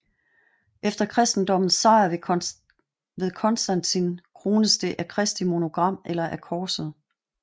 Efter kristendommens sejr ved Constantin krones det af Kristi monogram eller af korset